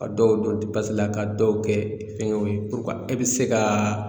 Ka dɔw don la ka dɔw kɛ fɛngɛw ye e bɛ se ka